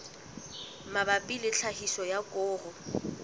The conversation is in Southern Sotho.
mabapi le tlhahiso ya koro